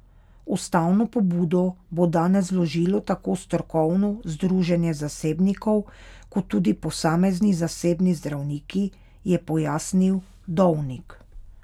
Ustavno pobudo bo danes vložilo tako strokovno združenje zasebnikov kot tudi posamezni zasebni zdravniki, je pojasnil Dovnik.